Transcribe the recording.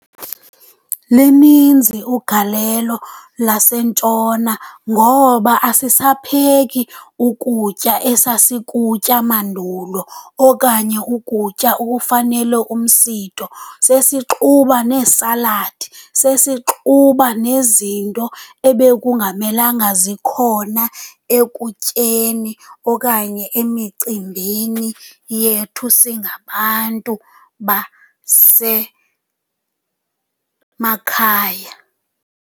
Lininzi ugalelo lasentshona ngoba asisapheki ukutya esasikutya mandulo okanye ukutya okufanele umsitho, sesixuba neesaladi, sesixuba nezinto ebekungamelanga zikhona ekutyeni okanye emicimbini yethu singabantu basemakhaya.